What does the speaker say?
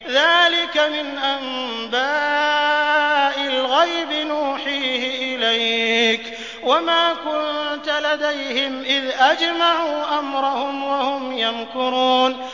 ذَٰلِكَ مِنْ أَنبَاءِ الْغَيْبِ نُوحِيهِ إِلَيْكَ ۖ وَمَا كُنتَ لَدَيْهِمْ إِذْ أَجْمَعُوا أَمْرَهُمْ وَهُمْ يَمْكُرُونَ